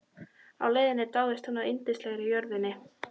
Á leiðinni dáðist hún að yndislegri jörðinni.